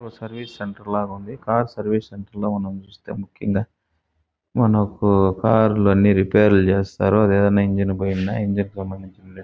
ఓ service centre లాగేఉంది car service centre ల మనం చుస్తే ముక్యంగా మనకు కార్ లు అన్ని రేపైర్ లు చేస్తారు అదెలాగా ఇంజిన్ పోయిందా ఇంజిన్ సమందించిన --